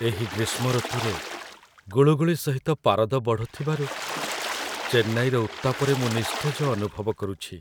ଏହି ଗ୍ରୀଷ୍ମ ଋତୁରେ, ଗୁଳୁଗୁଳି ସହିତ ପାରଦ ବଢ଼ୁଥିବାରୁ ଚେନ୍ନାଇର ଉତ୍ତାପରେ ମୁଁ ନିସ୍ତେଜ ଅନୁଭବ କରୁଛି।